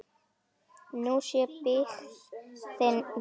Nú sé byggðin þétt.